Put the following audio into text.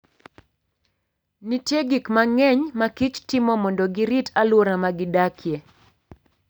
Nitie gik mang'eny ma kich timo mondo girit alwora ma gidakie.